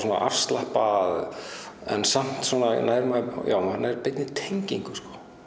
afslappað en maður nær maður nær beinni tengingu